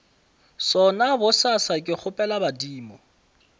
sona bosasa ke kgopela badimo